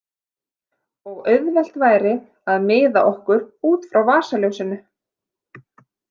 Og auðvelt væri að miða okkur út frá vasaljósinu.